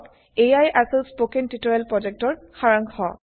এয়াই আছিল spoken tutorial প্ৰযেক্তৰ সাৰাংশ